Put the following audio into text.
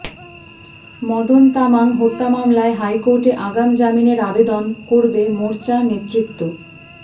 মদন তামাং হত্যা মামলায় হাইকোর্টে আগাম জামিনের আবেদন করবে মোর্চা নেতৃত্ব